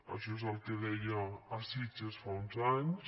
això és el que deia a sitges fa uns anys